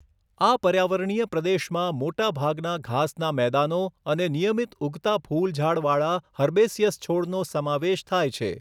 આ પર્યાવરણીય પ્રદેશમાં મોટા ભાગના ઘાસના મેદાનો અને નિયમિત ઊગતા ફૂલ ઝાડવાળા હર્બેસિયસ છોડનો સમાવેશ થાય છે.